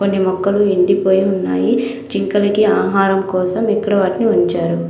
కొన్ని మొక్కలు ఎండి పోయి ఉన్నాయి. జింకలకి ఆహారం కోసం ఇక్కడ వాటిని ఉంచారు.